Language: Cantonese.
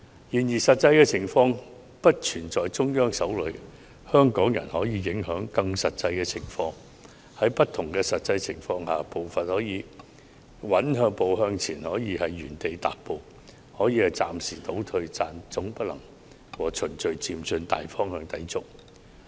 然而，實際情況並不是完全在中央手裏，香港人可以影響實際情況，在不同的實際情況下，步伐可以穩步向前，也可以原地踏步或暫時倒退，但總不能抵觸"循序漸進"的大方向。